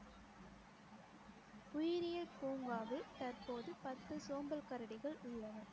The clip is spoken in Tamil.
உயிரியல் பூங்காவில் தற்போது பத்து சோம்பல் கரடிகள் உள்ளன